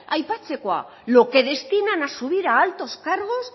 aipatzekoa lo que destinan a subir a altos cargos